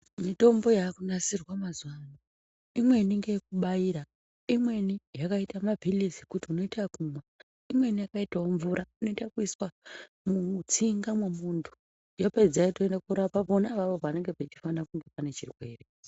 Mitombo yakunasirwa mazuwano, imweni ngeyekubairwa, imweni yakaita maphilizi kuti unoita ekumwa, imweni yakaitawo mvura inoita kuiswa mutsinga mwemuntu, yapedza yotoenda korapa pona apapo panenge pachifana kunge pane chirwere.